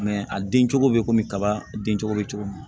a den cogo bɛ komi kaba den cogo bɛ cogo min